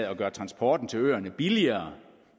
af at gøre transporten til øerne billigere